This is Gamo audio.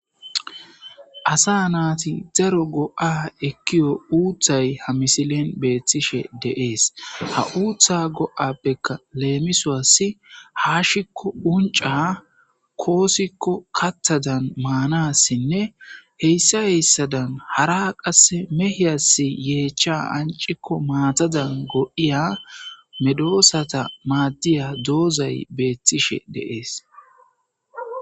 asa naati daro go7a ekkiyo uuthay ha misilen beettishe deees ha uutha go7appeka leemisoassi haashikko unca koosikko kattadan maanassinne heyssa heyssadan hara qasse mehiyas yeechcha ancikko maatadan god7iya medoosata maaddiya doozay beettishe deees